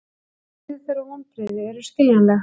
Reiði þeirra og vonbrigði eru skiljanleg